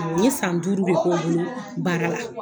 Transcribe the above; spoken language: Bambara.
N ye san duuru de k'o bolo baara la.